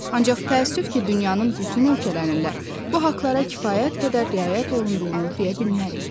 Ancaq təəssüf ki, dünyanın bütün ölkələrində bu haqqlara kifayət qədər riayət olunduğunu deyə bilmərik.